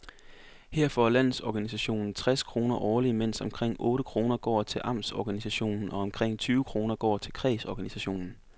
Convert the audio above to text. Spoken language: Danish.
Her får landsorganisationen tres kroner årligt, mens omkring otte kroner går til amtsorganisationen og omkring tyve kroner til kredsorganisationen.